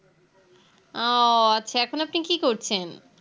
আ ও আচ্ছা এখন আপনি কি করছেন